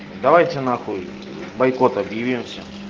давайте нахуй бойкот объявим всё